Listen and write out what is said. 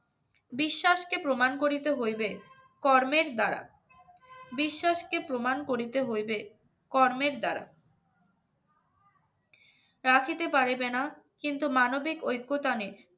বিশ্বাসকে প্রমাণ করিতে হইবে কর্মের দ্বারা বিশ্বাসকে প্রমাণ করিতে হইবে কর্মের দ্বারা না খেতে পারবে না কিন্তু মানবিক ঐক্যতান